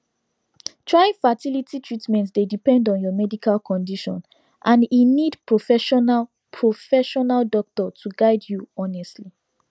trying fertility treatment dey depend on your medical condition and e need professional professional doctor to guide you honestly